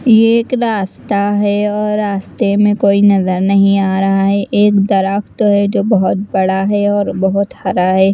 ये एक रास्ता है और रास्ते में कोई नजर नहीं आ रहा हैं एक दरख्त है जो बहुत बड़ा हैं और बहुत हरा हैं।